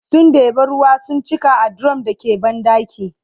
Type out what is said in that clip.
sun ɗeba ruwa sun cika a dirum da ke banɗakin